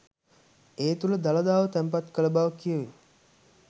ඒ තුළ දළදාව තැන්පත් කළ බව කියැවේ